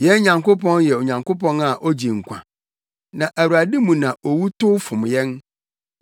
Yɛn Nyankopɔn yɛ Onyankopɔn a ogye nkwa; na Awurade mu na owu tow fom yɛn.